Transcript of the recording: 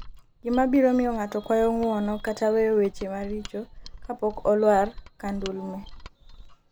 gima biro miyo ng'ato kuayo ng'uono kata weyo weche maricho kapok olwar ka ndulme